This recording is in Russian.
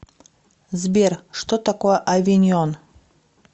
сбер что такое авиньон